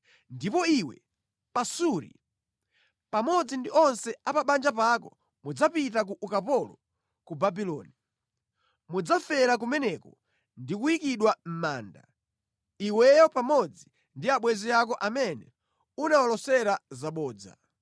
Ndipo iwe, Pasuri, pamodzi ndi onse a pa banja pako mudzapita ku ukapolo ku Babuloni. Mudzafera kumeneko ndi kuyikidwa mʼmanda, iweyo pamodzi ndi abwenzi ako amene unawalosera zabodza.’ ”